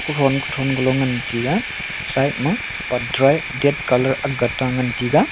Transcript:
kuthon kuthon galo ngan tiga side ma patdra ee ded colour aakga tan ngan tiga.